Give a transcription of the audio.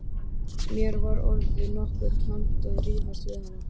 Mér var orðið nokkuð tamt að rífast við hann.